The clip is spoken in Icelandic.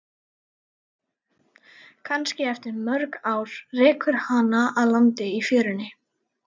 Kannski eftir mörg ár rekur hana að landi í fjörunni.